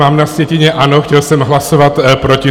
Mám na sjetině ano, chtěl jsem hlasovat proti.